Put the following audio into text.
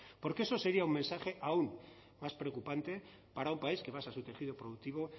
porque eso sería un mensaje aún más preocupante para un país que basa su tejido productivo